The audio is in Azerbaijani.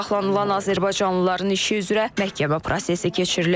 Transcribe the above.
Saxlanılan azərbaycanlıların işi üzrə məhkəmə prosesi keçirilib.